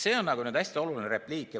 See on hästi oluline repliik.